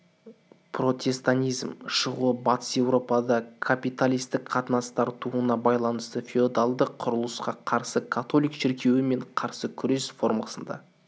протестантизм шығуы батыс европада капиталистік қатынастар тууына байланысты феодалдық құрылысқа қарсы католик шіркеуі мен қарсы күрес формасында